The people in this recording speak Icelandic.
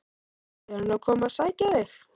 Er hann að koma að sækja þig?